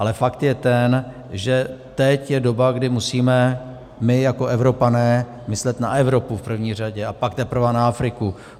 Ale fakt je ten, že teď je doba, kdy musíme my jako Evropané myslet na Evropu v první řadě, a pak teprve na Afriku.